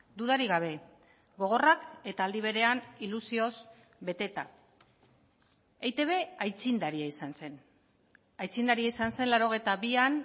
dudarik gabe gogorrak eta aldi berean ilusioz beteta eitb aitzindaria izan zen aitzindaria izan zen laurogeita bian